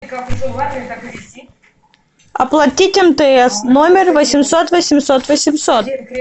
оплатить мтс номер восемьсот восемьсот восемьсот